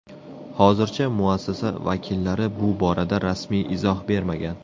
Hozircha muassasa vakillari bu borada rasmiy izoh bermagan.